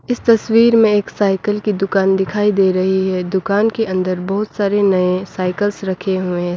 इस तस्वीर मे एक साइकिल की दुकान दिखाई दे रही है दुकान के अंदर बहोत सारे नये साइकिल्स रखे हुए --